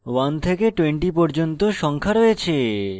1 থেকে 20 পর্যন্ত সংখ্যা রয়েছে